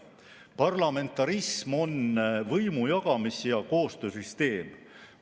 Parlamentarism on võimu jagamise ja koostöö süsteem.